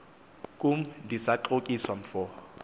kum ndisaxokiswa mfo